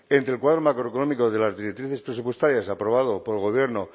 entre el cuadro macroeconómico de las directrices presupuestarias aprobado por el gobierno